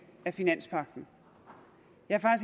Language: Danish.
af finanspagten jeg